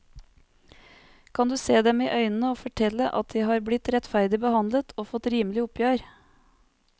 Kan du se dem i øynene og fortelle at de har blitt rettferdig behandlet og fått rimelig oppgjør?